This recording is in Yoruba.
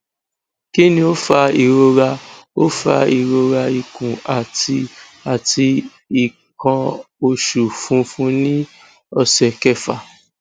kini o fa irora o fa irora ikun ati ati ikan osu funfun ni ose kefa